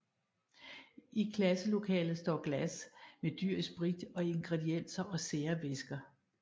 I klasselokalet står glas med dyr i sprit og ingredienser og sære væsker